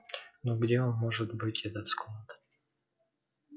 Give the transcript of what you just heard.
ну где он может быть этот склад